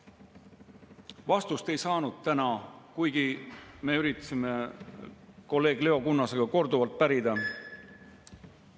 Vastust ei saanud täna, kuigi me üritasime kolleeg Leo Kunnasega korduvalt pärida.